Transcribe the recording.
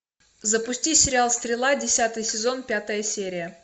запусти сериал стрела десятый сезон пятая серия